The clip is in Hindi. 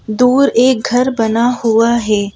दूर एक घर बना हुआ है।